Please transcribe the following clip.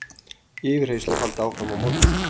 Yfirheyrslur halda áfram á morgun